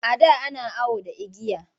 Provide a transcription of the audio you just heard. A da an awo da igiya.